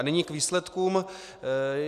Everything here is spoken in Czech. A nyní k výsledkům.